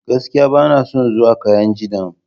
Gaskiya! Bana son zuwa kainji dam.